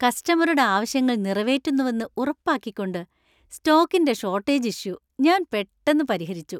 കസ്റ്റമറുടെ ആവശ്യങ്ങൾ നിറവേറ്റുന്നുവെന്ന് ഉറപ്പാക്കിക്കൊണ്ട് സ്റ്റോക്കിന്‍റെ ഷോർട്ടേജ് ഇഷ്യൂ ഞാൻ പെട്ടന്ന് പരിഹരിച്ചു.